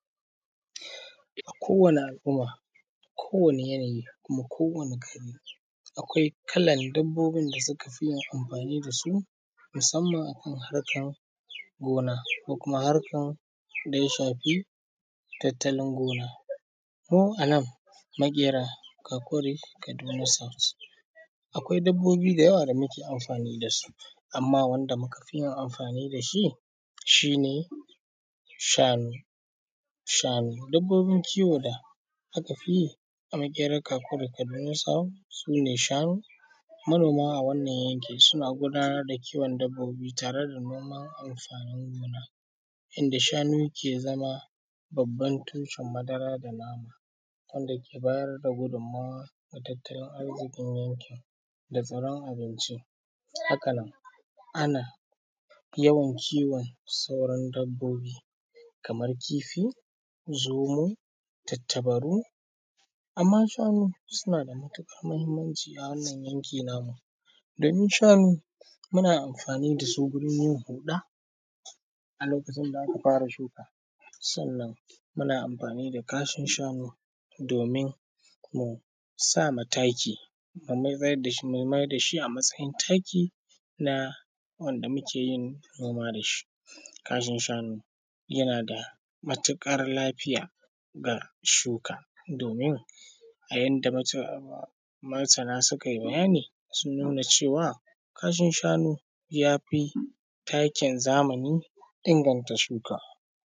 Kowane al’umma, kowane yanayi kuma kowane gari akwai kallan dabbobi da suka fi amfani da su musamman akan harkar gona ko kuma harkar da ya shafi tattalin gona ko a nan makera kakuri kaduna south akwai dabbobi da yawa da muke amfani da su amma wanda muka fi yin amfani da shi, shi ne shanu shanu dabbobin kiwon da aka fi yi a makera kakuri kaduna south sune shanu, manoma a wannan yanki suna gudanar da kiwon dabbobi tare da noman amfanin gona inda shanu ke zama babban tushen madara da nama wanda ke bayar da gudunmuwa da tattalin arzikin yankin da tsaron abinci haka nan ana yawan kiwon sauran dabbobi kamar kifi, zomo, tantabaru amma shanu suna da matukar muhimmanci a wannan yanki namu domin shanu muna amfani da su gurin yin huɗa a lokacin da aka fara shuka sannan muna amfani da kashin shanu domin mu sa ma taki mu mayar da shi a matsayin taki na wanda muke yin noma da shi, kashin shanu yana da matukar lafiya ga shuka domin a yadda masana suka yi bayani sun nuna cewa kashin shanu ya fi takin zamani inganta shuka.